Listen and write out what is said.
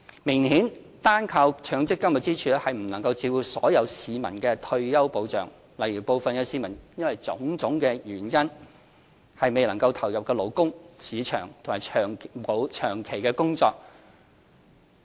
明顯地，單靠強積金支柱並未能照顧所有市民的退休保障，例如部分市民因為種種原因未能投入勞動市場或長期工作。